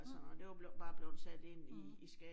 Mh. Mh